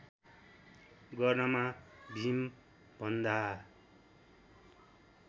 गर्नमा भीमभन्दा